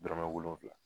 Dɔrɔmɛ wolonfila